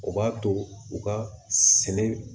O b'a to u ka sɛnɛ